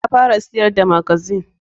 Ta fara siyar da magazine.